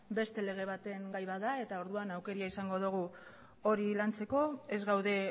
beste lege baten gai bat da eta orduan aukera izango dugu hori lantzeko ez gaude